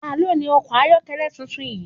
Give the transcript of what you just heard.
Ta ló ni ọkọ̀ ayokele tuntun yìí?